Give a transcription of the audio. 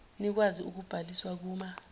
nikwazi ukubhaliswa kuma